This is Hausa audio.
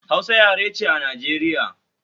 Hausa yare ce a Najeriya